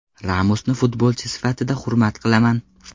Ramosni futbolchi sifatida hurmat qilaman.